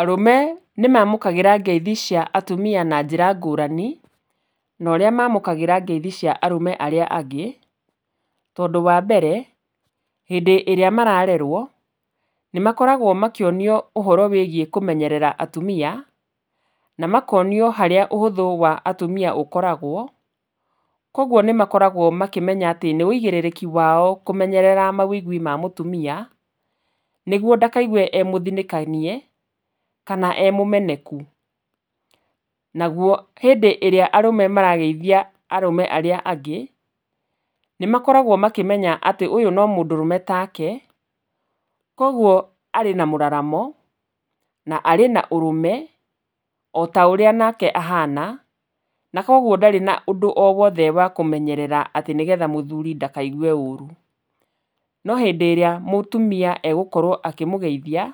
Arume nĩ mamũkagĩra ngeithi cia atumia na njĩra ngũrani, na ũrĩa mamũkagĩra ngeithi cia arũme arĩa angĩ, tondũ wa mbere hĩndĩ ĩrĩa mararerwo nĩ makoragwo makĩonio ũhoro wĩgiĩ kũmenyerera atumia na makonio harĩa ũhũthũ wa atumia ũkoragwo, koguo nĩ makoragwo makĩmenya atĩ nĩ ũigĩrĩrĩki wao kũmenyerera mawĩigwi ma mũtumia, nĩguo ndakaigue e mũthinĩkanie kana e mũmeneku. Naguo hĩndĩ ĩrĩa arũme marageithia arũme arĩa angĩ, nĩ makoragwo makĩmenya ũyũ no mũndũrũme ta ke, koguo arĩ na mũraramo na arĩ na ũrũme ota ũrĩa onake ahana, na koguo ndarĩ na ũndũ o wothe wa kũmenyerera atĩ nĩ getha mũthuri ndakaigue ũru. No hĩndĩ ĩrĩa mũtumia e gũkorwo akĩmũgeithia